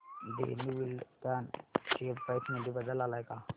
Dhenu Buildcon share price मध्ये बदल आलाय का